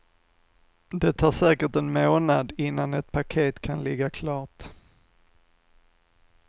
Det tar säkert en månad innan ett paket kan ligga klart.